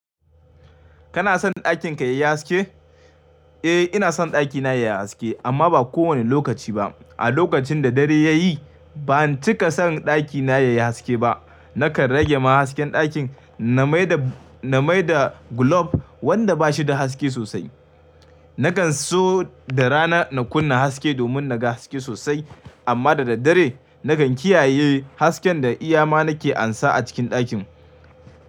Kana son ɗakin ka yayi haske? Eh ina son ɗakina yayi haske amma ba kowane lokaci ba. A lokacin da dare ya yi ban cika son ɗakina yayi haske ba. Naka rage ma hasken ɗakin na mai da, na mai da glob wanda bashi da haske sosai. Nakan so da rana na kunna haske domin naga haske sosai amma da daddare nagan kiyaye hasken da iya ma nake amsa a cikin ɗakin.